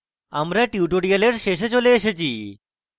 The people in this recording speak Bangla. আমরা tutorial শেষে চলে এসেছি